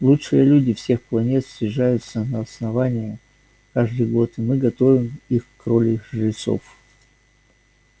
лучшие люди всех планет съезжаются на основание каждый год и мы готовим их к роли жрецов